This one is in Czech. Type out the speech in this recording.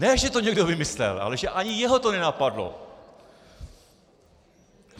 Ne že to někdo vymyslel, ale že ani jeho to nenapadlo.